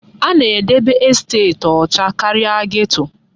A na-edebe estet ọcha karịa geto.